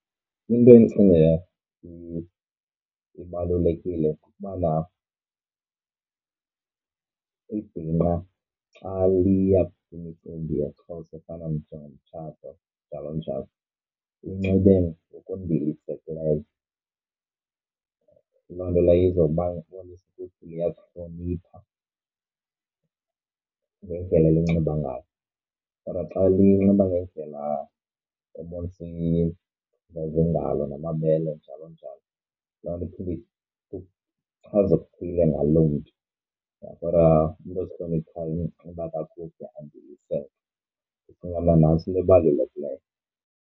Into endicinga ibalulekile kukubana ibhinqa xa liya kwimicimbi yesiXhosa efana njengomtshato njalo njalo linxibe ngokundilisekileyo. Loo nto leyo iza kubonisa ukuthi liyazihlonipha ngendlela elinxiba ngayo. Kodwa xa linxiba ngendlela ebonisa ebonisa iingalo namabele njalo njalo, loo nto iphinde ichaze okuthile ngaloo mntu kodwa umntu ozihloniphayo unxiba kakuhle andiliseke, ndicinga mna nantso into ebalulekileyo.